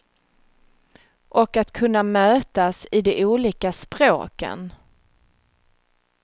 Och att kunna mötas i de olika språken.